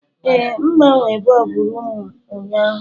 Ee, M gbanwere bọlbụ rumụ m ụnyaahụ.